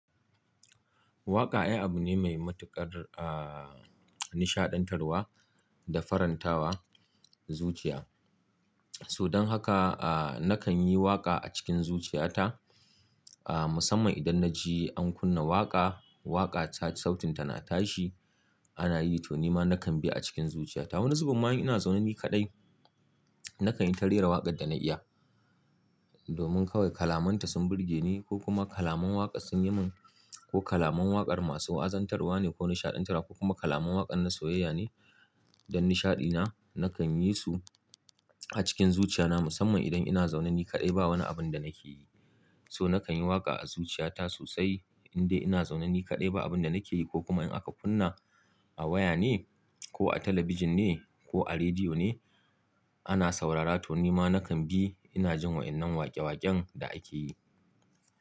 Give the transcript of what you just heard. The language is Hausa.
Waƙa ai abu ne mai matuƙar, ah, nishaɗantarwa da farantawa zuciya. Sodan haka, ah, nakan yi waƙa a cikin zuciyata, ah, musamman idan na ji an kunna waƙa, waƙa ta sautinta na tashi, ana yi to nima nakan bi a cikin zuciyata. Wani zubun ma in ina zaune ni kaɗai nakan yi ta rera waƙar da na iya. Domin kawai kalaman ta sun burge ni ko kuma kalaman waƙa sun yi min ko kalaman waƙar masu wa, azantarwa ne ko nishaɗantarwa ko kuma kalaman waƙar na soyayya ne don nishaɗi na nakan yi su a cikin zuciya na musamman idan ina zaune ni kaɗai ba wani abun da nake yi. So nakan yi waƙa a zuciyata sosai in dai ina zaune ni kaɗai ba abun da nake yi ko kuma in aka kunna a waya ne ko a talabijin ne ko a rediyo ne ana saurara to nima nakan bi ina jin waɗannan waƙe-waƙen da ake yi.